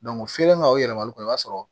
ka o yɛlɛma olu kɔ i b'a sɔrɔ